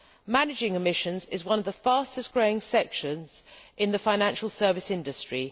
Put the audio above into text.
Managing emissions is one of the fastest growing sections in the financial service industry.